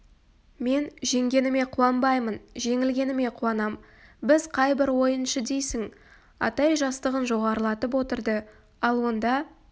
мен жеңгеніме қуанбаймын жеңілгеніме қуанам біз қай бір ойыншы дейсің атай жастығын жоғарылатып отырды ал онда